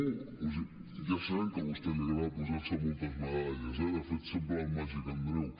o sigui ja sabem que a vostè li agrada posar se moltes medalles eh de fet sembla el màgic andreu